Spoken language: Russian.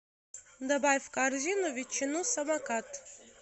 добавь в корзину ветчину самокат